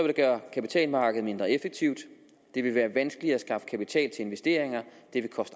det gøre kapitalmarkedet mindre effektivt det vil være vanskeligere at skaffe kapital til investeringer